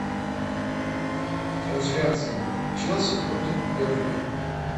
трансляция челси против бернли